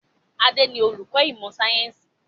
Adé ni olùkọ́ ìmọ̀ sayẹ́nsi